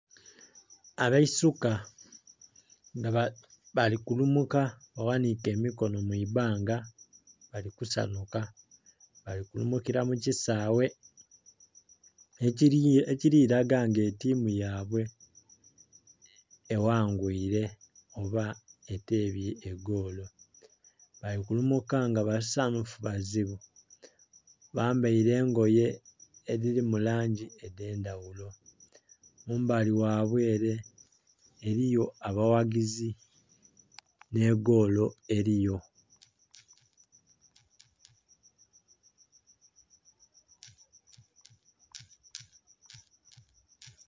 Abaisuka nga bali kulumuka baghanike emikono mwi banga bali ku sanhuka bali kulumukila mu kisaghe ekili laga nga ettimu yaibwe eghangwire oba etebye egoolo bali kulumuka nga basanhufu bazibu! Bambaire engoye edhiri mu langi edhendhaghulo. Mumbali ghaibwe ere eriyo emiti nhe egoolo eriyo.